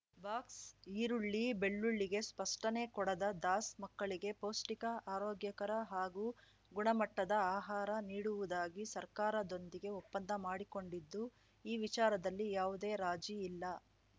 ಬಾಕ್ಸ್ಈರುಳ್ಳಿ ಬೆಳ್ಳುಳ್ಳಿಗೆ ಸ್ಪಷ್ಟನೆ ಕೊಡದ ದಾಸ್‌ ಮಕ್ಕಳಿಗೆ ಪೌಷ್ಟಿಕ ಆರೋಗ್ಯಕರ ಹಾಗೂ ಗುಣಮಟ್ಟದ ಆಹಾರ ನೀಡುವುದಾಗಿ ಸರ್ಕಾರದೊಂದಿಗೆ ಒಪ್ಪಂದ ಮಾಡಿಕೊಂಡಿದ್ದು ಈ ವಿಚಾರದಲ್ಲಿ ಯಾವುದೇ ರಾಜಿ ಇಲ್ಲ